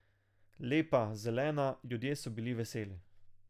Lepa, zelena, ljudje so bili veseli.